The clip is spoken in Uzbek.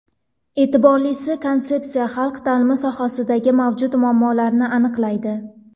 E’tiborlisi, konsepsiya xalq ta’limi sohasidagi mavjud muammolarni aniqlaydi.